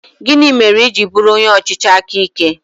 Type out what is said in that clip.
Gịnị mere i ji bụrụ onye ọchịchị aka ike?